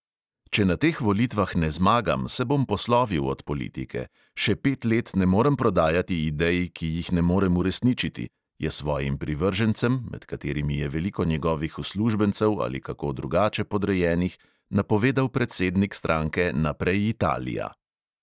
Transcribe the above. Če na teh volitvah ne zmagam, se bom poslovil od politike; še pet let ne morem prodajati idej, ki jih ne morem uresničiti, je svojim privržencem, med katerimi je veliko njegovih uslužbencev ali kako drugače podrejenih, napovedal predsednik stranke naprej, italija!